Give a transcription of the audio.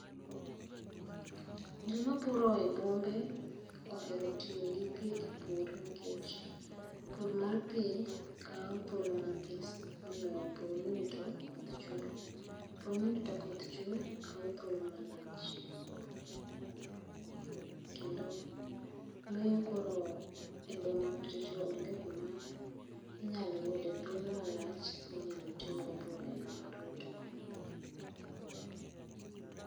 Jii mapuro e bombe ohero tiyo gi pii e pur nikech pur mar pii kaw thuolo mathis moloyo pur mirito to koth chwe, pur mirito ka koth chwe kaw thuolo malach kendo miyo koro e boma kuchocho onge kuma inyalo yude thuolo malach minyalo timgo pur aina mar rito koth